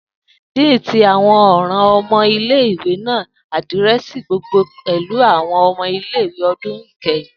Dean ti awọn ọran ọmọ ile-iwe ni adirẹsi gbogbogbo pẹlu awọn ọmọ ile-iwe ọdun ikẹhin.